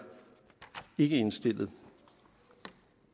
indstillet